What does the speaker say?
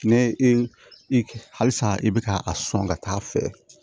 Ne i i halisa i bɛ ka a sɔn ka taa fɛ